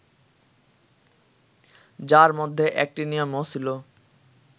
যার মধ্যে অ্যাক্টিনিয়ামও ছিল